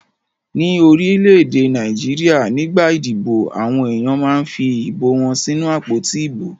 Ní orílẹ̀-èdè Nàìjíríà nígbà ìdìbò àwọn ènìyàn máa fi ìbò wọn sínú àpótí ìbò.